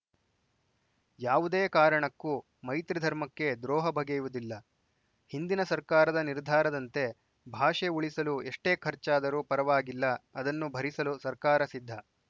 ಯಾವುದೇ ಕಾರಣಕ್ಕೂ ಮೈತ್ರಿ ಧರ್ಮಕ್ಕೆ ದ್ರೋಹ ಬಗೆಯುವುದಿಲ್ಲ ಹಿಂದಿನ ಸರ್ಕಾರದ ನಿರ್ಧಾರದಂತೆ ಭಾಷೆ ಉಳಿಸಲು ಎಷ್ಟೇ ಖರ್ಚಾದರೂ ಪರವಾಗಿಲ್ಲ ಅದನ್ನು ಭರಿಸಲು ಸರ್ಕಾರ ಸಿದ್ಧ